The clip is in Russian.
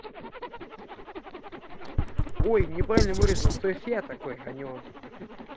ой неправильно выразился то есть я такой а не он